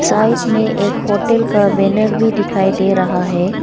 Side में एक hotel का बैनर भी दिखाई दे रहा है।